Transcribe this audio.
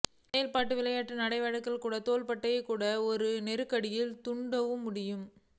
செயலில் விளையாட்டு நடவடிக்கைகள் கூட தோள்பட்டை கூட்டு ஒரு நெருக்கடி தூண்டும் முடியும்